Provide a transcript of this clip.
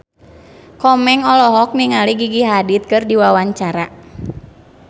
Komeng olohok ningali Gigi Hadid keur diwawancara